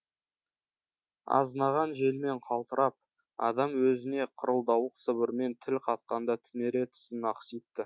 азынаған желмен қалтырап адам өзіне қырылдауық сыбырмен тіл қатқанда түнере тісін ақситты